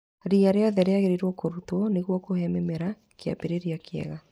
Ria rĩothe rĩagĩrĩirwo nĩ kũrutwo nĩguo kũhe mĩmera kĩambĩrĩria kĩega.